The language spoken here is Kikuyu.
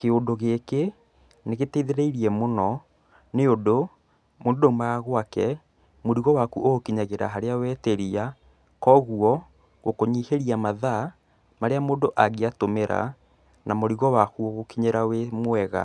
Kĩũndũ gĩkĩ nĩgĩteithĩrĩirie mũno nĩũndũ mũndũ ndaumaga gwake mũrigo waku ũgũkinyagĩra kũrĩa wetĩria, kogwo gũkũnyihĩria mathaa marĩa mũndũ angiatũmĩra, na mũrigo waku ũgũkinyĩra wĩ mwega.